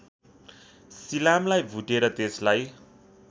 सिलामलाई भुटेर त्यसलाई